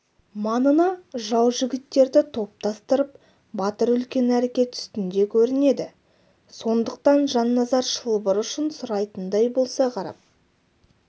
маңына жау жігіттерді топтастырып батыр үлкен әрекет үстінде көрінеді сондықтан жанназар шылбыр ұшын сұрайтындай болса қарап